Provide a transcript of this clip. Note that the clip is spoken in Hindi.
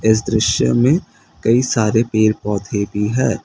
इस दृश्य में कई सारे पेर पौधे भी है।